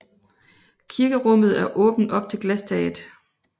Kirkerummet er åbent op til glastaget